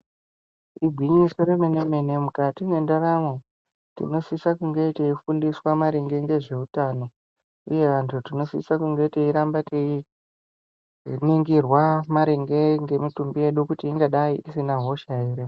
Igwinyiso remene mene mukati mwendaramo tinosisa kunge teifundiswa maringe ngezveutano. Uye vantu tinosisa kunge teiramba teiningirwa maringe nemitumbi yedu kuti ingadai isina hosha ere.